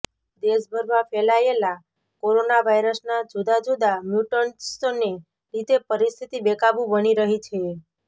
દેશભરમાં ફેલાયેલા કોરોના વાયરસના જુદા જુદા મ્યુટન્ટ્સને લીધે પરિસ્થિતિ બેકાબૂ બની રહી છે